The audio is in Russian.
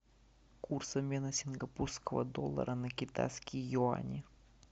курс обмена сингапурского доллара на китайские юани